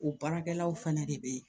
O baarakɛlaw fɛnɛ de be yen